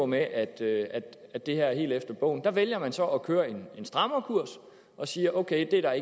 med at det at det her var helt efter bogen der vælger man så at køre en strammerkurs og siger ok det er